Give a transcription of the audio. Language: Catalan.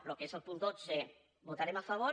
el que és el punt dotze votarem a favor